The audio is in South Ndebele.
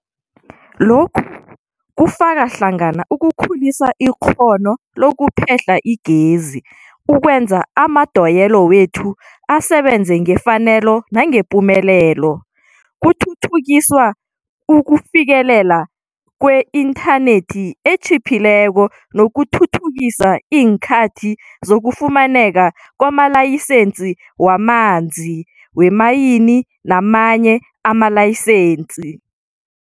Lokhu kufaka hlangana ukukhulisa ikghono lokuphehla igezi, ukwenza amadoyelo wethu asebenze ngefanelo nangepumelelo, kuthuthukiswe ukufikeleleka kweinthanethi etjhiphileko nokuthuthukisa iinkhathi zokufumaneka kwamalayisensi wamanzi, weemayini namanye amalayisensi.